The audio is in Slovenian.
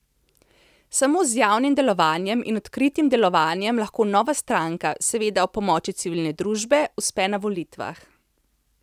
Samo z javnim delovanjem in odkritim delovanjem lahko nova stranka, seveda ob pomoči civilne družbe, uspe na volitvah.